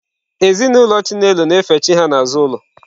Ezinụlọ Chinelo na-efe chi ha n'azụ ụlọ.